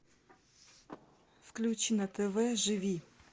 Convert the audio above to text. включи на тв живи